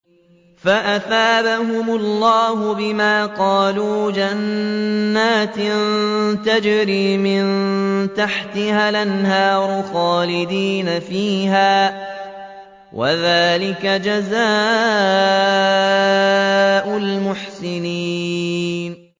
فَأَثَابَهُمُ اللَّهُ بِمَا قَالُوا جَنَّاتٍ تَجْرِي مِن تَحْتِهَا الْأَنْهَارُ خَالِدِينَ فِيهَا ۚ وَذَٰلِكَ جَزَاءُ الْمُحْسِنِينَ